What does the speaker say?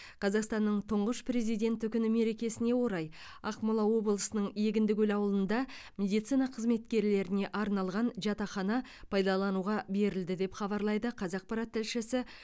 қазақстанның тұңғыш президенті күні мерекесіне орай ақмола облысының егіндікөл ауылында медицина қызметкерлеріне арналған жатақхана пайдалануға берілді деп хабарлайды қазақпарат тілшісі